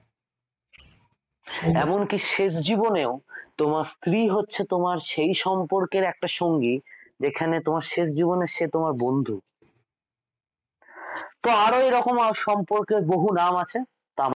এমন কি শেষ জীবনেও তোমার স্ত্রী হচ্ছে তোমার সেই সম্পর্কের একটা সঙ্গী যেখানে শেষ জীবনে সে তোমার বন্ধু তা আরও এরকম সম্পর্কের বহু নাম আছে।